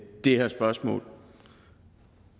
her spørgsmål